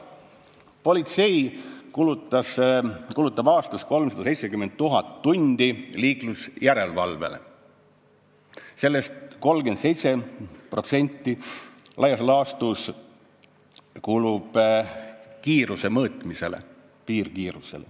Politsei kulutab aastas 370 000 tundi liiklusjärelevalvele, sellest laias laastus 37% kulub piirkiiruse mõõtmisele.